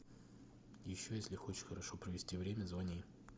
еще если хочешь хорошо провести время звони